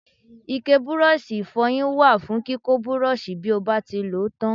Ike Bírọ́ọ̀ṣì ìfọyín wà fún kíkọ́ Bírọ́ọ̀ṣì bí ó bá ti lòó tán.